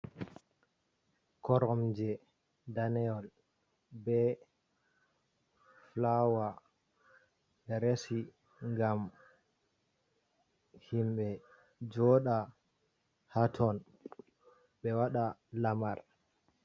Koromje danewol bae flower ɓe resi ngam himɓe jooɗa haa ton ɓe waɗa lamar